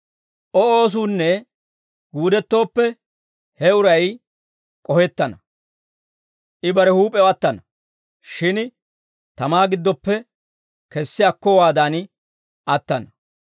O oosuunne guudettooppe, he uray k'ohettana. I bare huup'ew attana; shin tamaa giddoppe kessi akkowaadan attana.